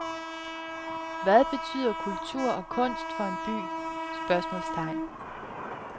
Hvad betyder kultur og kunst for en by? spørgsmålstegn